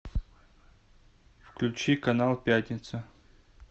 включи канал пятница